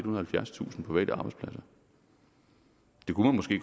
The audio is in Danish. og halvfjerdstusind private arbejdspladser